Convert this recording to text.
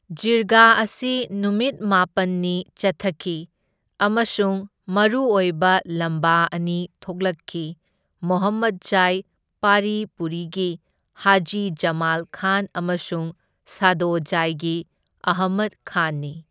ꯖꯤꯔꯒꯥ ꯑꯁꯤ ꯅꯨꯃꯤꯠ ꯃꯥꯄꯟꯅꯤ ꯆꯠꯊꯈꯤ ꯑꯃꯁꯨꯡ ꯃꯔꯨꯑꯣꯏꯕ ꯂꯝꯕꯥ ꯑꯅꯤ ꯊꯣꯛꯂꯛꯈꯤ, ꯃꯣꯍꯝꯃꯗꯖꯥꯏ ꯄꯥꯔꯤ ꯄꯨꯔꯤꯒꯤ ꯍꯖꯤ ꯖꯃꯥꯜ ꯈꯥꯟ ꯑꯃꯁꯨꯡ ꯁꯥꯗꯣꯖꯥꯏꯒꯤ ꯑꯍꯃꯗ ꯈꯥꯟꯅꯤ꯫